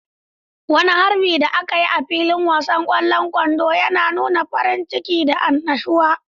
Wani harbin da aka yi a filin wasan kwallon kwando yana nuna farin ciki da annashuwa.